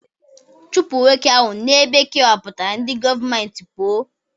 Chụpụ nwoke ahụ n'ebe e kewapụtara ndị gọọmentị pụọ!